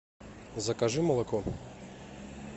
закажи молоко